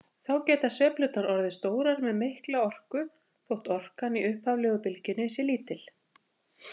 Þá geta sveiflurnar orðið stórar með mikla orku þótt orkan í upphaflegu bylgjunni sé lítil.